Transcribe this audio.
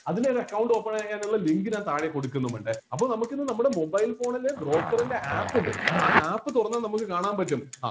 അതിലൊരു account open ചെയ്യാനുള്ള link ഞാൻ താഴെ കൊടുക്കുന്നുമുണ്ട് അപ്പൊ നമ്മക്ക് ഇന്ന് നമ്മുടെ mobile phone ൽ broker ൻ്റെ app ഇണ്ട് ആ app തുറന്നാ നമ്മക്ക് കാണാൻ പറ്റും